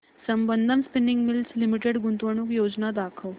Sambandam spinning mills limited गुंतवणूक योजना दाखव